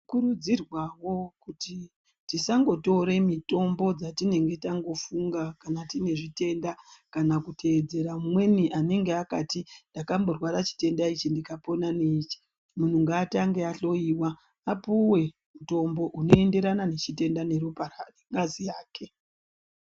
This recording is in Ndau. Tino kurudzirwawo kuti tasangotore mitombo dzatinenge tangofunga kana tine zvitenda kana kuteedzera mumweni anenge akati ndakamborwara chitenda ichi ndikapona neichi. Munhu ngaatange ahloyiwa apuwe mutombo unoenderana nechitenda neropa nengazi yake.